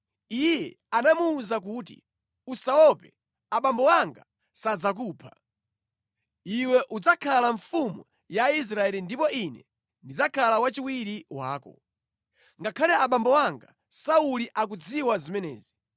Iye anamuwuza kuti, “Usaope, abambo anga sadzakupha. Iwe udzakhala mfumu ya Israeli ndipo ine ndidzakhala wachiwiri wako. Ngakhale abambo anga Sauli akudziwa zimenezi.”